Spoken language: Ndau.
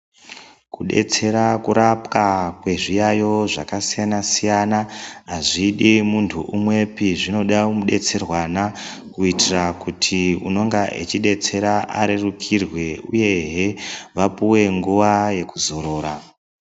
Kudetsera kurapwa kwezviyayo zvakasiyana-siyana hazvidi muntu umwepi. Zvinoda mudetserwana kuitira kuti unonga echidetsera arerukirwe uyehe vapuwe nguwa yekuzorora.